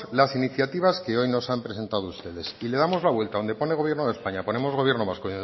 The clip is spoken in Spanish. las iniciativas que hoy nos han presentado ustedes y le damos la vuelta donde pone gobierno de españa ponemos gobierno vasco